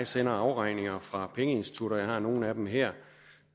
sender afregninger fra pengeinstitutter jeg har nogle af dem her